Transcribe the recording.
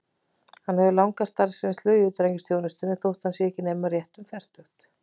Hann hefur langa starfsreynslu í utanríkisþjónustunni, þótt hann sé ekki nema rétt um fertugt.